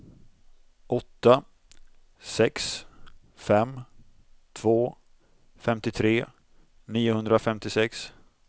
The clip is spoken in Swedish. åtta sex fem två femtiotre niohundrafemtiosex